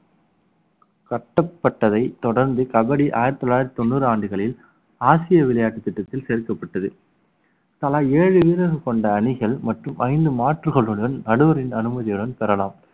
கட்டப்பட்டதை தொடர்ந்து கபடி ஆயிரத்து தொள்ளாயிரத்து தொண்ணூறு ஆண்டுகளில் ஆசிய விளையாட்டுத் திட்டத்தில் சேர்க்கப்பட்டது தலா ஏழு வீரர்கள் கொண்ட அணிகள் மற்றும் ஐந்து மாற்றுகளுடன் நடுவரின் அனுமதியுடன் பெறலாம்